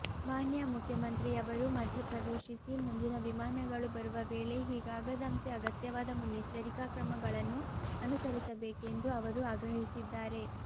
ಮಾನ್ಯ ಮುಖ್ಯಮಂತ್ರಿಯವರು ಮಧ್ಯ ಪ್ರವೇಶಿಸಿ ಮುಂದಿನ ವಿಮಾನಗಳು ಬರುವ ವೇಳೆ ಹೀಗಾಗದಂತೆ ಅಗತ್ಯವಾದ ಮುನ್ನೆಚ್ಚರಿಕಾ ಕ್ರಮಗಳನ್ನು ಅನುಸರಿಸಬೇಕೆಂದು ಅವರು ಆಗ್ರಹಿಸಿದ್ದಾರೆ